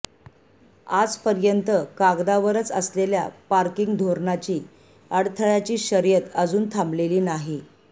आजपर्यंत कागदावरच असलेल्या पार्किंग धोरणाची अडथळ्याची शर्यत अजून थांबलेली नाही